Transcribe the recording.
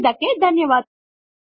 ಸೇರಿದಕ್ಕೆ ಧನ್ಯವಾದಗಳು